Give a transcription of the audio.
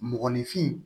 Mɔgɔninfin